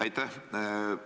Aitäh!